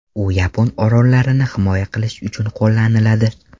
U yapon orollarini himoya qilish uchun qo‘llaniladi.